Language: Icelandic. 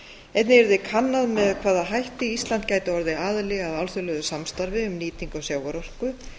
einnig yrði kannað með hvaða hætti ísland gæti orðið aðili að alþjóðlegu samstarfi um nýtingu sjávarorku